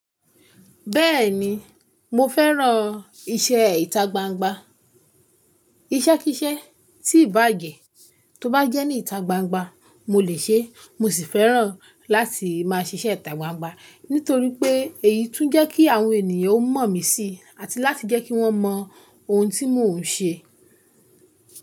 Bẹ́ẹ̀ni, mo fẹ́ràn iṣẹ́ ìta gbangba. Iṣẹ́ kí iṣẹ́ tí ìbà jé tó bá jẹ́ ní ìta gbangba mo lè ṣe. Mo sì fẹ́ràn láti máa ṣiṣẹ́ ìta gbangba nítorí pé èyí tún jẹ́ kí àwọn ènìyàn ó mọ̀ mí sí àti láti jẹ́ kí wọ́n mọ ohun tí mò ń ṣe.